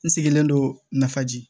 N sigilen don nafa ji